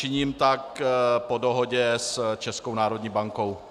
Činím tak po dohodě s Českou národní bankou.